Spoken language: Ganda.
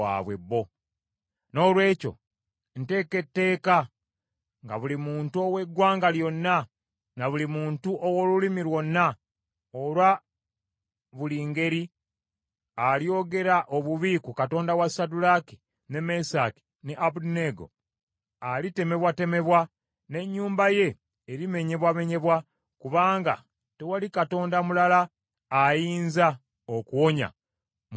Noolwekyo nteeka etteeka nga buli muntu ow’eggwanga lyonna, na buli muntu ow’olulimi lwonna olwa buli ngeri alyogera obubi ku Katonda wa Saddulaaki, ne Mesaki ne Abeduneego, alitemebwatemebwa, n’ennyumba ye erimenyebwamenyebwa, kubanga tewali katonda mulala ayinza okuwonya mu ngeri eyo.”